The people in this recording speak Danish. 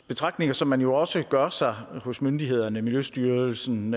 betragtninger som man jo også gør sig hos myndighederne i miljøstyrelsen